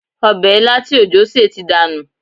Ọbẹ̀ ilá tí òjó sè ti dànù